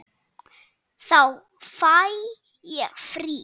Þá fæ ég frí.